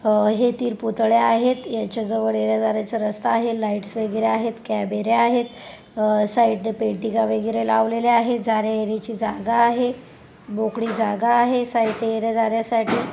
अह हे तीन पुतळे आहेत यांच्या जवळ येण्या जाण्याचे रस्ता आहे लाइटस वगैरे आहेत कॅमेरे आहेत अह साइड ने पेंटिंग वगैरे लावलेले आहे जाणे येण्याचे जागा आहे मोकळी जागा आहे साइड ने येण्या जाण्यासाठी --